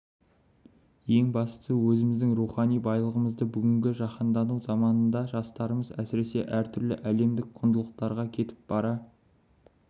ең бастысы өзіміздің рухани байлығымызды бүгінгі жаіандану заманында жастарымыз әсіресе әр түрлі әлемдік құндылықтарға кетіп бара